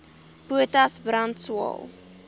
potas brand swael